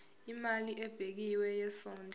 imali ebekiwe yesondlo